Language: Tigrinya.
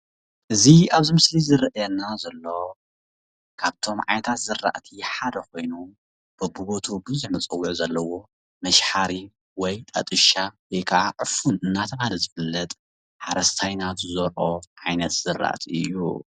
እዚ ኣብዚ ምስሊ ዝረኣየና ዘሎ ካብቶም ዓይነታት ዝራእቲ ሓደ ኮይኑ በቢቦትኡ ብዙሕ መፀውዒ ዘለዎ መሸባሕሪ ወይ ጣጥሻ ወይከዓ ዕፉን እንዳተባሃለ ዝፍለጥ ሓረስታይና ዝዘርኦ ዓይነት ዝራእቲ እዩ።